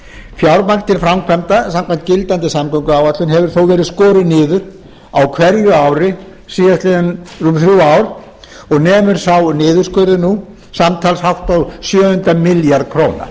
til framkvæmda samkvæmt gildandi samgönguáætlun hefur þó verið skorið niður á hverju ári síðastliðin þrjú ár og nemur sá niðurskurður nú samtals hátt á sjöunda milljarð króna